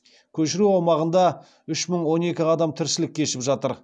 көшіру аумағында үш мың он екі адам тіршілік кешіп жатыр